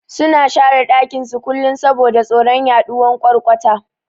Suna share dakin su kullun saboda tsoron yaduwan ƘwarƘwata